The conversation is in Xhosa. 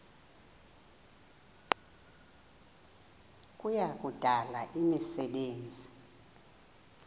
kuya kudala imisebenzi